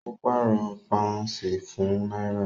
Ó pàrọ̀ pàúnsì fún náírà